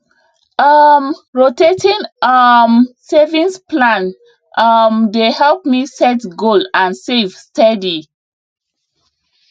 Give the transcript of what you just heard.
um rotating um savings plan um dey help me set goal and save steady